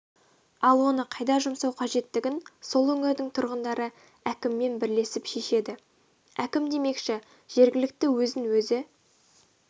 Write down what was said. ал оны қайда жұмсау қажеттігін сол өңірдің тұрғындары әкіммен бірлесіп шешеді әкім демекші жергілікті өзін өзі